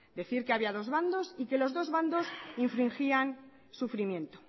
decir que había dos bandos y que los dos bandos infringían sufrimiento